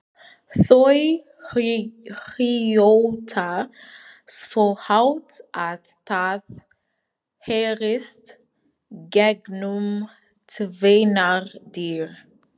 Þau hrjóta svo hátt að það heyrist gegnum tvennar dyr!